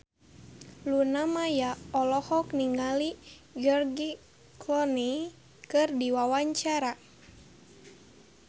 Luna Maya olohok ningali George Clooney keur diwawancara